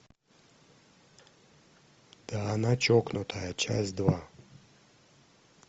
да она чокнутая часть два